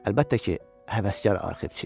Əlbəttə ki, həvəskar arxivçi.